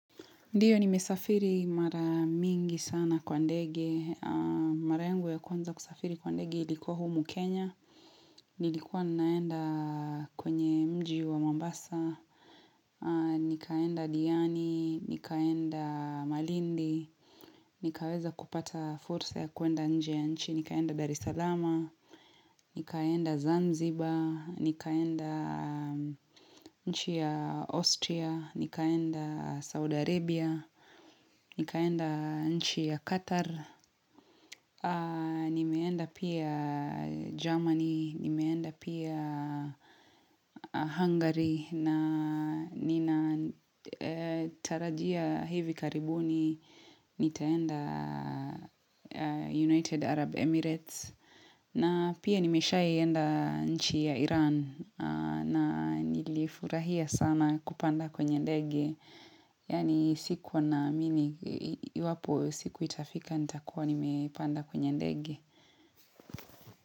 Ndiyo nimesafiri mara mingi sana kwa ndege, mara yangu ya kuwanza kusafiri kwa ndege ilikuwa humu Kenya, nilikuwa naenda kwenye mji wa Mambasa, nikaenda Diani, nikaenda Malindi, nikaweza kupata fursa ya kuenda nje ya nchi, nikaenda Darisalama, nikaenda Zanzibar, nikaenda nchi ya Austria, nikaenda Saudi Arabia, Nikaenda nchi ya Qatar, nimeenda pia Germany, nimeenda pia Hungary na ninatarajia hivi karibuni, nitaenda United Arab Emirates na pia nimeshai enda nchi ya Iran na nilifurahia sana kupanda kwenye ndege. Yani sikuwa naamini, iwapo siku itafika nitakuwa nimepanda kwenye ndege.